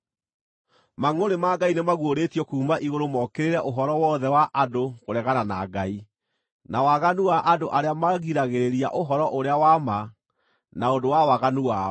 Mangʼũrĩ ma Ngai nĩmaguũrĩtio kuuma igũrũ mokĩrĩre ũhoro wothe wa andũ kũregana na Ngai, na waganu wa andũ arĩa magiragĩrĩria ũhoro-ũrĩa-wa-ma na ũndũ wa waganu wao,